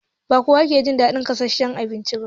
Ba kowa ke jin daɗin gasasshen abinci ba.